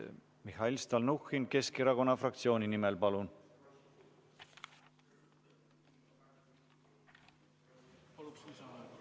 Mihhail Stalnuhhin Keskerakonna fraktsiooni nimel, palun!